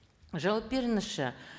жауап беріңізші